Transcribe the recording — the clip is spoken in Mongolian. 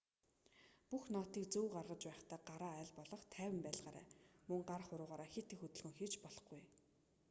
бүх нотыг зөв гаргаж байхдаа гараа аль болох тайван байлгаарай мөн гар хуруугаараа хэт их хөдөлгөөн хийж болохгүй